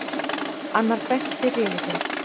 Annar besti riðillinn